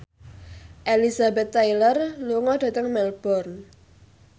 Elizabeth Taylor lunga dhateng Melbourne